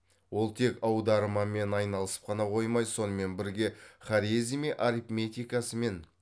ол тек аудармамен айналысып қана қоймай сонымен бірге хорезми арифметикасымен